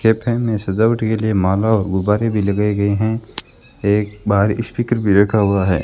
Cafe में सजावट के लिए माला और गुब्बारे भी लगाए गए हैं एक बाहर स्पीकर भी रखा हुआ है।